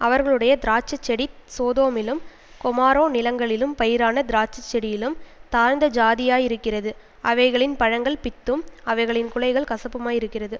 அவர்களுடைய திராட்ச செடி சோதோமிலும் கொமாரோ நிலங்களிலும் பயிரான திராட்சச்செடியிலும் தாழ்ந்த ஜாதியாயிருக்கிறது அவைகளின் பழங்கள் பித்தும் அவைகளின் குலைகள் கசப்புமாய் இருக்கிறது